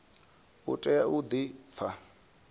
u tea u di pfa